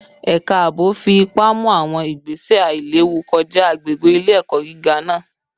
Ẹka aabo fi ipa mu awọn igbese ailewu kọja agbegbe ile-ẹkọ giga naa